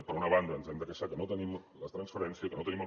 per una banda ens hem de queixar que no tenim la transferència que no tenim els